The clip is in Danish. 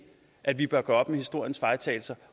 at vi bør gøre op med historiens fejltagelser